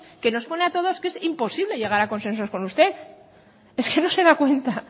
que nos pone a todos que es imposible llegar a consensuar con usted es que no se da cuenta